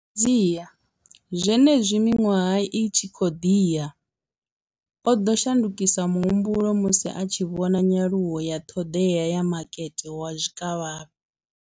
Fhedziha, zwenezwi miṅwaha i tshi khou ḓi ya, o ḓo shandukisa muhumbulo musi a tshi vhona nyaluwo ya ṱhoḓea ya makete wa zwikavhavhe.